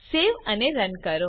સેવ અને રન કરો